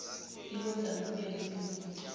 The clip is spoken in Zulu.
ikwenza ubukeke unomfutho